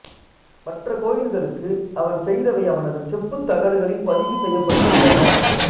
மற்ற கோயில்களுக்கு அவன் செய்தவை அவனது செப்புத் தகடுகளில் பதிவு செய்யப்பட்டு உள்ளன